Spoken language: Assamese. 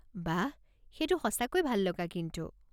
বাহঃ! সেইটো সঁচাকৈয়ে ভাল লগা কিন্তু।